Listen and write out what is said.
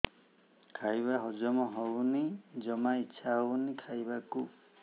ଖାଇବା ହଜମ ହଉନି ଜମା ଇଛା ହଉନି ଖାଇବାକୁ